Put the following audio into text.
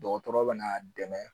Dɔgɔtɔrɔ bɛ n'a dɛmɛ